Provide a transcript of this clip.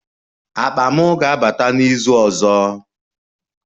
Akpa m ga-abata n'izu ọzọ